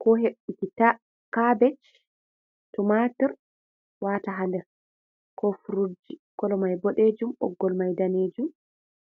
Ko heɓbuki kabej tomatur wata ha nɗer, ko furut ji. Kolo mai boɗejum. Boggol mai ɗanejum.